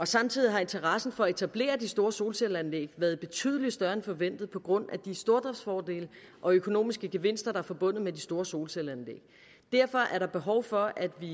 samtidig har interessen for at etablere de store solcelleanlæg været betydelig større end forventet på grund af de stordriftsfordele og økonomiske gevinster der er forbundet med de store solcelleanlæg derfor er der behov for at vi